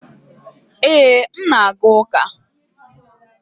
Ee, m na-aga ụka.